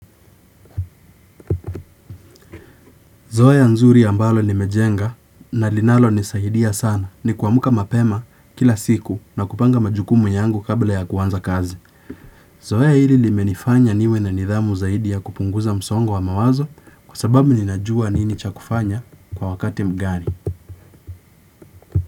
Zoea nzuri ambalo nimejenga na linalonisaidia sana ni kuamka mapema kila siku na kupanga majukumu yangu kabla ya kuanza kazi. Zoea hili limenifanya niwe na nidhamu zaidi ya kupunguza msongo wa mawazo kwa sababu ninajua nini cha kufanya kwa wakati mgani.